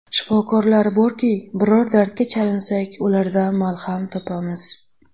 Shifokorlar borki, biror dardga chalinsak, ulardan malham topamiz.